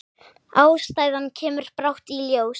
Ástæðan kemur brátt í ljós.